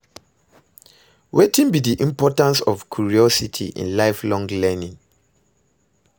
Wetin be di importance of curiosity in lifelong learning?